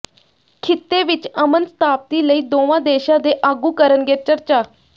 ਖਿੱਤੇ ਵਿਚ ਅਮਨ ਸਥਾਪਤੀ ਲਈ ਦੋਵਾਂ ਦੇਸ਼ਾਂ ਦੇ ਆਗੂ ਕਰਨਗੇ ਚਰਚਾ